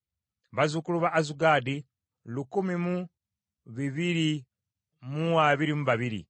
bazzukulu ba Azugaadi lukumi mu bibiri mu abiri mu babiri (1,222),